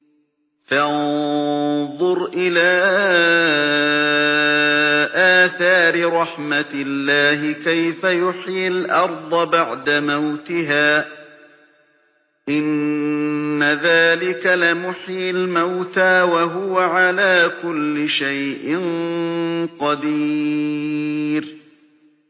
فَانظُرْ إِلَىٰ آثَارِ رَحْمَتِ اللَّهِ كَيْفَ يُحْيِي الْأَرْضَ بَعْدَ مَوْتِهَا ۚ إِنَّ ذَٰلِكَ لَمُحْيِي الْمَوْتَىٰ ۖ وَهُوَ عَلَىٰ كُلِّ شَيْءٍ قَدِيرٌ